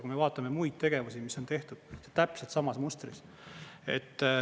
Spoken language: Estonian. Kui me vaatame muid tegevusi, siis need tehtud täpselt samas mustris.